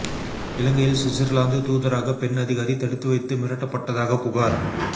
இலங்கையில் சுவிட்சர்லாந்து தூதரக பெண் அதிகாரி தடுத்து வைத்து மிரட்டப்பட்டதாக புகார்